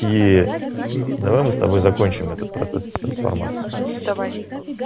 ии давай мы с тобой закончим этот процесс трансформации давай